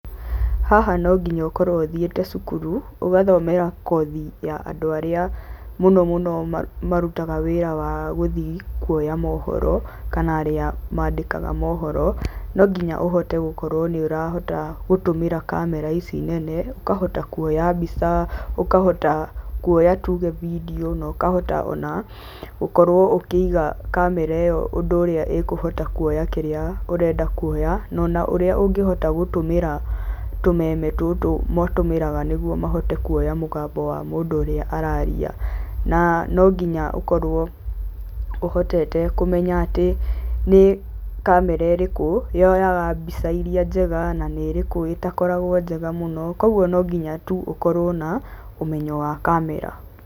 Haha no nginya ũkorwo ũthiĩte cukuru, ũgathomera kothi ya andũ arĩa mũno mũno marutaga wĩra wa gũthiĩ kuoya mohoro kana arĩa maandĩkaga mohoro. No nginya ũhote gũkorwo nĩ ũrahota gũtũmĩra kamera ici nene, ũkahota kuoya mbica kana ũkahota kuoya tuge video na ũkahota ona gũkorwo ũkĩiga kamera ĩyo ũndũ ũrĩa ĩkũhota kuoya kĩrĩa ũreda kuoya no na ũrĩa ũngĩhota gũtũmĩra tũmeme tũtũ matũmĩgara nĩguo mahote kuoya mũgambo wa mũndũ ũrĩa araria. Na no nginya ũkorwo ũhotete kũmenya atĩ nĩ kamera ĩrĩkũ yoyaga mbica iria njega na nĩ ĩrĩkũ ĩtakoragwo njega mũno, koguo no nginya tu ũkorwo na ũmenyo wa kamera.